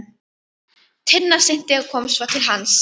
Tinna synti og kom svo til hans.